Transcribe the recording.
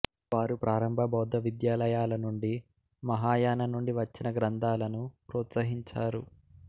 వారు ప్రారంభ బౌద్ధ విద్యాలయాల నుండి మహాయాన నుండి వచ్చిన గ్రంథాలను ప్రోత్సహించారు